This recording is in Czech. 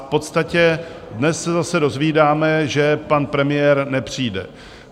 V podstatě dnes se zase dozvídáme, že pan premiér nepřijde.